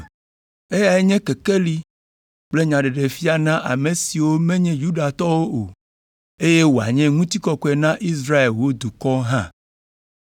Eyae nye kekeli kple nyaɖeɖefia na ame siwo menye Yudatɔwo o, eye wòanye ŋutikɔkɔe na Israel wò dukɔ hã!”